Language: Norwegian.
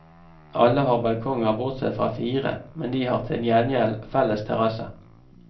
Alle har balkonger bortsett fra fire, men de har til gjengjeld felles terrasse.